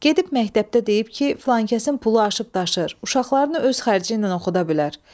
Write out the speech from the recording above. Gedib məktəbdə deyib ki, filankəsin pulu aşıb-daşır, uşaqlarını öz xərci ilə oxuda bilər.